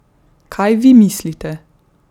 Kaj vi mislite?